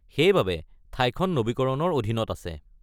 সেইবাবে ঠাইখন নৱীকৰণৰ অধীনত আছে।